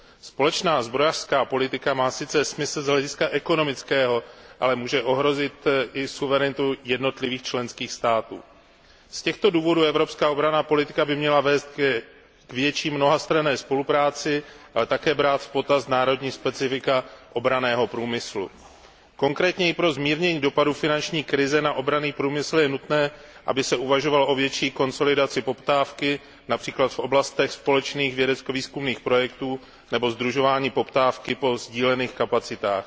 Společná zbrojní politika má sice smysl z hlediska ekonomického, ale může ohrozit i suverenitu jednotlivých členských států. Z těchto důvodů by evropská obranná politika měla vést k větší mnohastranné spolupráci, ale také brát v potaz národní specifika obranného průmyslu. Konkrétněji pro zmírnění dopadu finanční krize na obranný průmysl je nutné, aby se uvažovalo o větší konsolidaci poptávky, např. v oblastech společných vědecko výzkumných projektů, nebo sdružování poptávky po sdílených kapacitách.